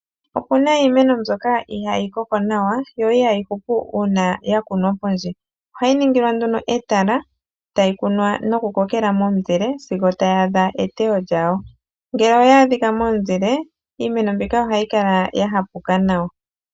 Okuna iimeno mbyoka ihaayi koko nawa yo ihayi hupu uuna yakunwa pondje, ohayi ningilwa nduno etala tayi kunwa nokukokela momuzile sigo tayi adha eteyo lyawo, ngele oyaadhika momuzile iimeno mbika ohayi kala yahapuka nawa.